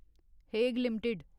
Hague limited